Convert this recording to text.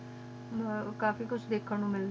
ਕਾਫੀ ਕੁਛ ਧ੍ਕ੍ਹਨ ਨੂੰ ਮਿਲਦਾ